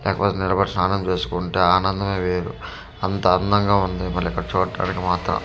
లేక పోతే నిలబడి స్నానం చేసుకుంటా ఆనందమే వేరు అంతా అందంగా ఉంది మళ్ళీ ఇక్కడ చూట్టానికి మాత్రం .